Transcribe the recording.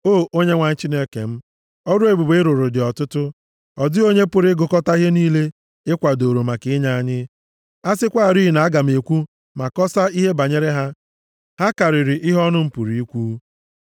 O Onyenwe anyị Chineke m, ọrụ ebube ị rụrụ dị ọtụtụ, ọ dịghị onye pụrụ ịgụkọta ihe niile ị kwadooro maka inye anyị; a sịkwarị na aga m ekwu ma kọsaa ihe banyere ha, ha karịrị ihe ọnụ pụrụ ikwu.